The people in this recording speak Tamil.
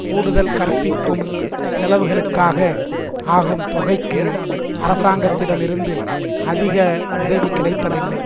கூடுதல் கற்பிக்கும் செலவுகளுக்காக ஆகும் தொகைக்கு அரசாங்கத்திடம் இருந்து அதிக உதவி கிடைப்பதில்லை